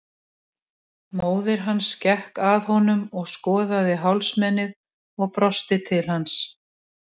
Móðir hans gekk að honum og skoðaði hálsmenið og brosti til hans.